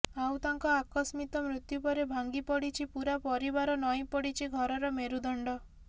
ଆଉ ତାଙ୍କ ଆକସ୍ମିତ ମୃତ୍ୟୁ ପରେ ଭାଙ୍ଗି ପଡିଛି ପୂରା ପରିବାର ନଇଁ ପଡିଛି ଘରର ମେରୁଦଣ୍ଡ